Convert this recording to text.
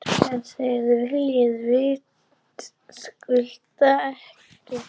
En það viljum við vitaskuld ekki.